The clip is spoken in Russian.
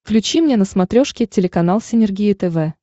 включи мне на смотрешке телеканал синергия тв